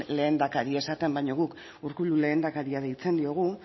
lehendakari esaten baino guk urkullu lehendakaria deitzen diogu